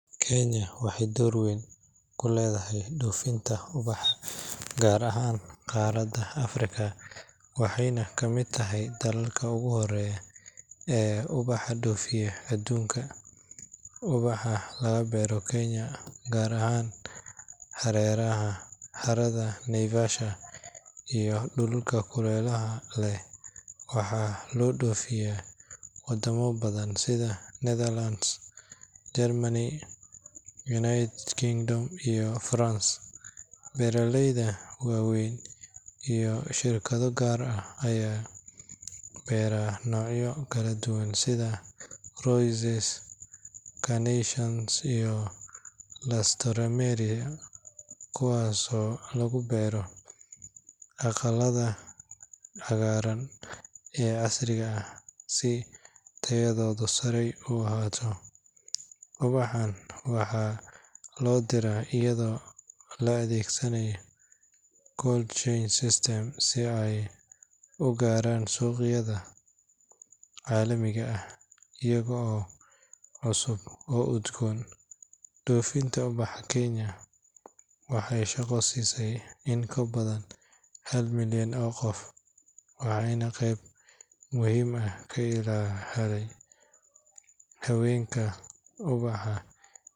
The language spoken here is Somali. Kenya waxay door weyn ku leedahay dhoofinta ubaxa, gaar ahaan qaaradda Afrika waxayna kamid tahay dalalka ugu horreeya ee ubax dhoofiya adduunka. Ubaxa laga beero Kenya, gaar ahaan hareeraha harada Naivasha iyo dhulalka kuleylaha leh, waxaa loo dhoofiyaa wadamo badan sida Netherlands, Germany, United Kingdom, iyo France. Beeraleyda waaweyn iyo shirkado gaar ah ayaa beera noocyo kala duwan sida roses, carnations, iyo alstroemeria, kuwaasoo lagu beero aqalada cagaaran ee casriga ah si tayadoodu sare u ahaato. Ubaxan waxaa loo diraa iyadoo la adeegsado cold chain systems si ay u gaaraan suuqyada caalamiga ah iyaga oo cusub oo udgoon. Dhoofinta ubaxa Kenya waxay shaqo siisay in ka badan hal milyan oo qof, waxaana qayb muhiim ah ka helay haweenka ubaxa.